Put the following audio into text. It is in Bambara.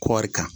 Kɔɔri kan